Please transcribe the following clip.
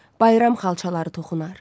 Bayram xalçaları toxunar.